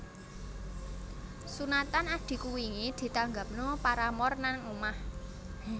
Sunatan adhiku wingi ditanggapno Paramore nang omah